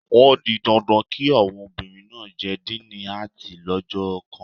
O di dandan kí àwọn obìnrin náà jẹ díìnì Áàtì lọ́jọ́ kan